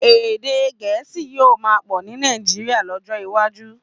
Èdè Gẹ̀ẹ́sì yóò máa sọ ní Nàìjíríà lọ́jọ́ iwájú.